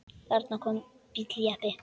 Þarna kom bíll, jeppi.